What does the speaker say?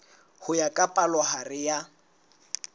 ho ya ka palohare ya